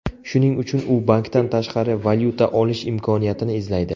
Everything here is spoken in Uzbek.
Shuning uchun u bankdan tashqari valyuta olish imkoniyatini izlaydi.